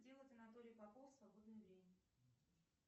делать анатолий попов в свободное время